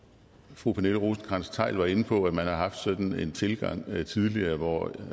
fru pernille rosenkrantz theil var inde på at man har haft sådan en tilgang tidligere hvor